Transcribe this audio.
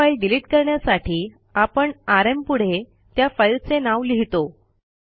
एक file delete करण्यासाठी आपण आरएम पुढे त्या फाईलचे नाव लिहितो